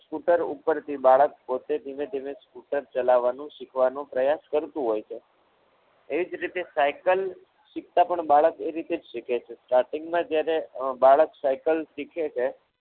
Scooter ઉપરથી બાળક પોતે ધીમે ધીમે scooter ચલાવવાનું શીખવાનું પ્રયાસ કરતું હોય છે એ જ રીતે સાયકલ શીખતા બાળક એ રીતે જ શીખે છે starting માં જ્યારે બાળક સાયકલ શીખે છે.